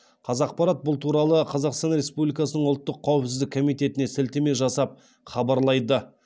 қазақпарат бұл туралы қазақстан республикасының ұлттық қауіпсіздік комитетіне сілтеме жасап хабарлайды